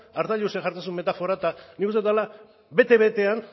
arzallusek jartzen zuen metafora eta nik uste dut dela bete betean